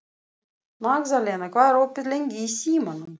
Magðalena, hvað er opið lengi í Símanum?